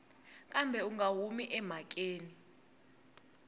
kambe u nga humi emhakeni